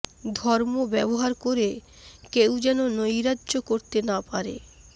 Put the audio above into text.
ধর্ম ব্যবহার করে কেউ যেন নৈরাজ্য করতে না পারে